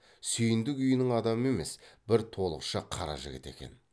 сүйіндік үйінің адамы емес бір толықша қара жігіт екен